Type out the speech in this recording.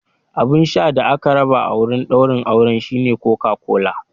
Abun sha da aka raba a wurin daurin auren shine Coca-Cola.